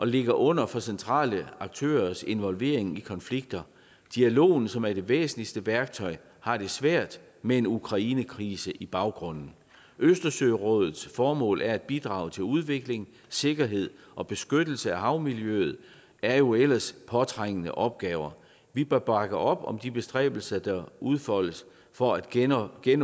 ligger under for centrale aktørers involvering i konflikter dialogen som er det væsentligste værktøj har det svært med ukrainekrisen i baggrunden østersørådets formål som er at bidrage til udvikling sikkerhed og beskyttelse af havmiljøet er jo ellers påtrængende opgaver vi bør bakke op om de bestræbelser der udfoldes for at genopbygge